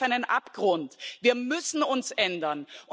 Wir stehen auf einem Abgrund, wir müssen uns ändern.